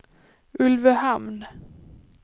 Ulvöhamn